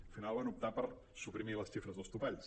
al final van optar per suprimir les xifres dels to·palls